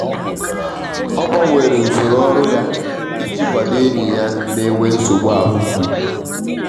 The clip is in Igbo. ọ gbanwere usoro ọrụ ya i ji kwado enyi ya n'enwe nsogbu ahụmgbu.